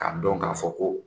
Ka dɔn k'a fɔ ko